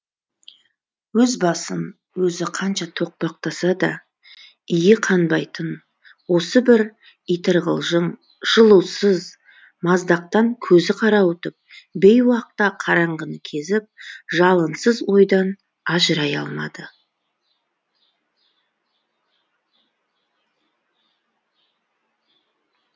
өз басын өзі қанша тоқпақтаса да иі қанбайтын осы бір итырғылжың жылусыз маздақтан көзі қарауытып бейуақта қараңғыны кезіп жалынсыз ойдан ажырай алмады